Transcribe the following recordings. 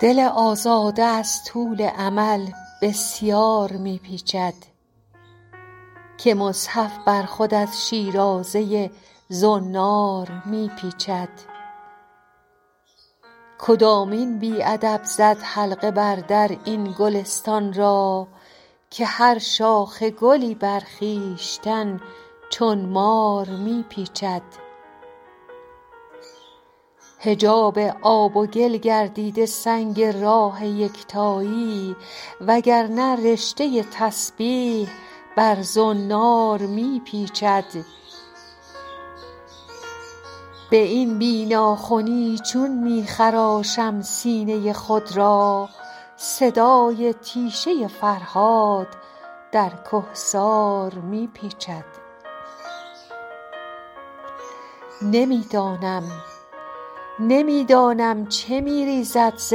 دل آزاده از طول امل بسیار می پیچد که مصحف بر خود از شیرازه زنار می پیچد کدامین بی ادب زد حلقه بر در این گلستان را که هر شاخ گلی بر خویشتن چون مار می پیچد حجاب آب و گل گردیده سنگ راه یکتایی و گر نه رشته تسبیح بر زنار می پیچد به این بی ناخنی چون می خراشم سینه خود را صدای تیشه فرهاد در کهسار می پیچد نمی دانم چه می ریزد ز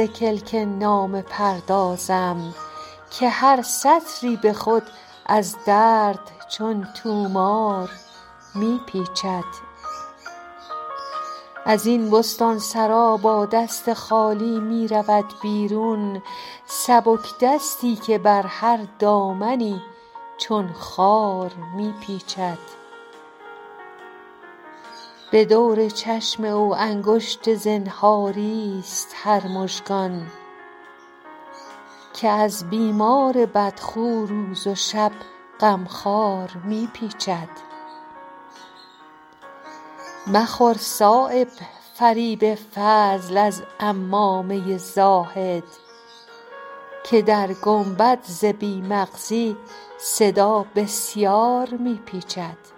کلک نامه پردازم که هر سطری به خود از درد چون طومار می پیچد ازین بستانسرا با دست خالی می رود بیرون سبکدستی که بر هر دامنی چون خار می پیچد به دور چشم او انگشت زنهاری است هر مژگان که از بیمار بدخو روز و شب غمخوار می پیچد مخور صایب فریب فضل از عمامه زاهد که در گنبد ز بی مغزی صدا بسیار می پیچد